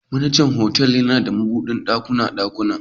Manajar otal suna da mabudin dukan dakunan.